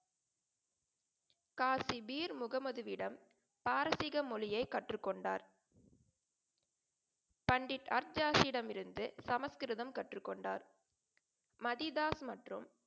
காஷிபீர் முகமதுவிடம் பாரசீக மொழியை கற்றுக்கொண்டார். பண்டிட் அர்தியாசியிடம் இருந்து சமஸ்கிருதம் கற்றுக் கொண்டார். மதி தாஸ் மற்றும்